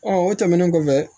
o tɛmɛnen kɔfɛ